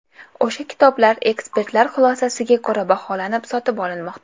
O‘sha kitoblar ekspertlar xulosasiga ko‘ra baholanib, sotib olinmoqda.